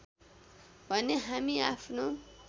भने हामी आफ्नो